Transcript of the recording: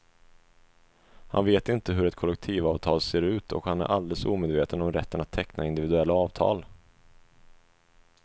Han vet inte hur ett kollektivavtal ser ut och han är alldeles omedveten om rätten att teckna individuella avtal.